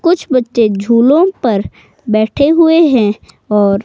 कुछ बच्चे झूलों पर बैठे हुए हैं और--